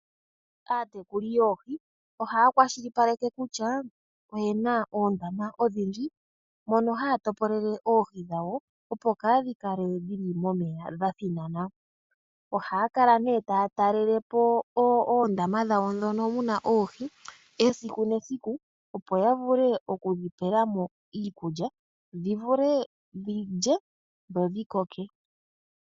Aatekuli yoohi ohaa kwashilipaleke kutya oyena oondama odhindji mono haya topolele oohi dhawo, opo kaadhi kale dhili momeya dha thinana. Ohaa kala nee taa talele po oondama dhawo ndhono muna esiku nesiku opo ya vule okudhi pela mo iikulya dhi vule dhi lye dho dhi koke.